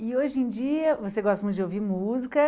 E hoje em dia você gosta muito de ouvir música.